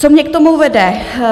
Co mě k tomu vede?